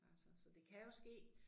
Altså så det kan jo ske